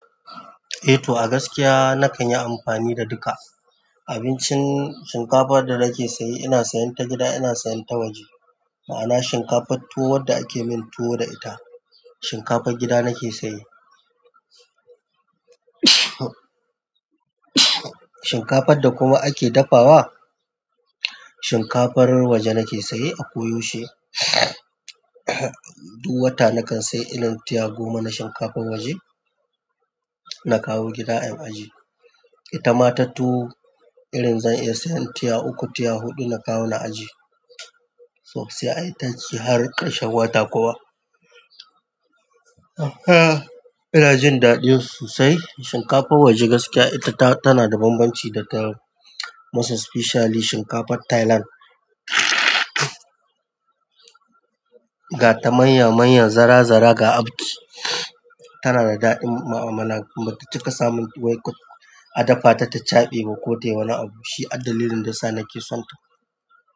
Eh to, a gaskiya nakan yi amfani da duka. Abincin shinkafar da nake sayi, ina sayan ta gida, ina sayan ta waje. Ma'ana shinkafar tuwo wadda ake yin tuwo da ita, shinkafar gida nake saye. Shinkafar da kuma ake dafawa, shinkafar waje nake saye a ko yaushe. Duk wata nakan saye irin tiya goma na shinkafar waje, na kawo gida in aje. Ita ma ta tuwo, irin zan iya sayan tiya uku, tiya huɗu na kawo na aje. Tau sai ayitaci har ƙarshen wata kuwa. Ah, ina jin daɗin sosai. Shinkafar waje gaskiya ita ta, tana da bambanci da ta, most especially shinkafar Thailand. Ga ta manya manya, zara zara ga abki. Tanada daɗin mu amala kuma bata cika samun tuwon ka a dafa ta ta chaɓe ba ko tayi wani abu, shi addalilin da sa nake son ta.